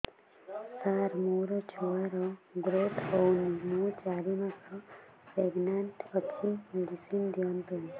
ସାର ମୋର ଛୁଆ ର ଗ୍ରୋଥ ହଉନି ମୁ ଚାରି ମାସ ପ୍ରେଗନାଂଟ ଅଛି ମେଡିସିନ ଦିଅନ୍ତୁ